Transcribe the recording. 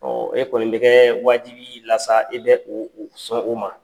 e kɔnni bɛ kɛ wajibi y'i la sa, i bɛ o o sɔn o ma.